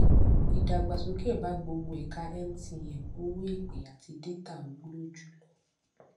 ìdàgbàsókè bá gbogbo ẹka mtn owó ìpè àti détà wúlò jùlọ